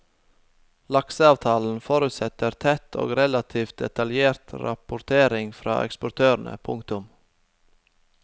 Lakseavtalen forutsetter tett og relativt detaljert rapportering fra eksportørene. punktum